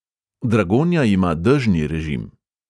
Dragonja ima dežni režim.